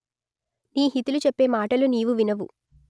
నీ హితులు చెప్పే మాటలు నీవు వినవు